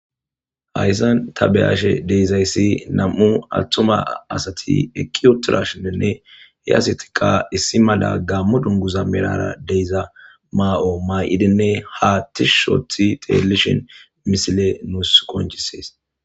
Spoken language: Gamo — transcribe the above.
hayssan tabeyashe deezayssi nam7u attuma asati eqi utidashininne he asatika issi mala gammo dunguza merara deyza ma7o maa7idinne haa tish othi xelishin misile nuus qoncises.